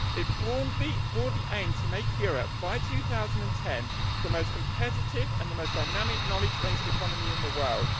It broadly aimed to make Europe, by 2010, the most competitive and the most dynamic knowledge based economy in the world.